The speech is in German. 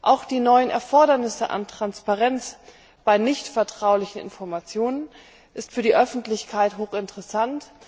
Auch die neuen Erfordernisse an Transparenz bei nichtvertraulichen Informationen sind für die Öffentlichkeit hochinteressant.